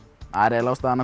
eiginlega ástæðan